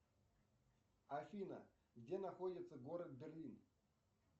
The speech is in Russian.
афина где находится город берлин